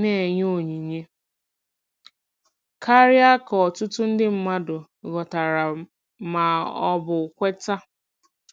na-enye onyinye karịa ka ọtụtụ ndị mmadụ ghọtara ma ọ bụ kweta.